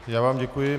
Já vám děkuji.